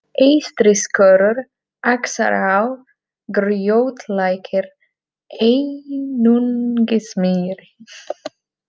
Eystriskorur, Axará, Grjótlækir, Einungismýri